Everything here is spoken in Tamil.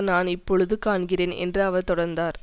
நான் இப்பொழுது காண்கிறேன் என்று அவர் தொடர்ந்தார்